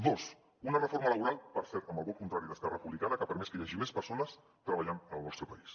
dos una reforma laboral per cert amb el vot contrari d’esquerra republicana que ha permès que hi hagi més persones treballant en el nostre país